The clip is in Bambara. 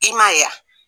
I ma ye wa